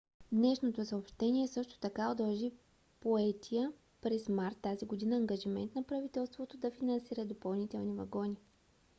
днешното съобщение също така удължи поетия през март тази година ангажимент на правителството да финансира допълнителни вагони